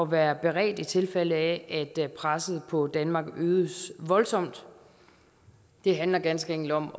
være beredt i tilfælde af at presset på danmark øges voldsomt det handler ganske enkelt om